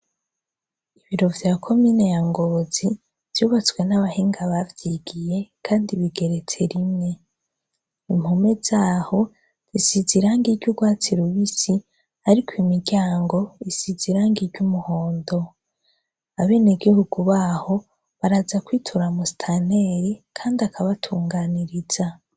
Ibiro vya Komine ya Ngozi vyubatswe n'abahinga bavyigiye kandi bigeretse rimwe. Impome zaho zisize irangi ry'urwatsi rubisi, ariko imiryango isize irangi ry'umuhondo. Abenegihugu baho baraza kwitura Musitanteri kandi akabatunganiriza.